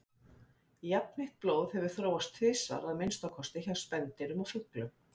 Jafnheitt blóð hefur þróast tvisvar að minnsta kosti, hjá spendýrum og fuglum.